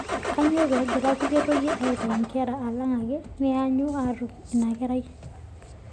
Kainyoo pee egira kulie toyie aitayu nkera alang ake neanyu aatum inakerai?